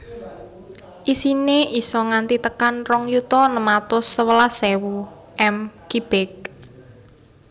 Isine isa nganti tekan rong yuta enem atus sewelas ewu m kibik